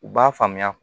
U b'a faamuya